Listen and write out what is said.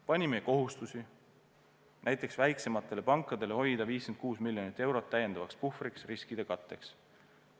Panime kohustusi, näiteks väiksematele pankadele hoida 56 miljonit eurot täiendavaks puhvriks riskide katteks.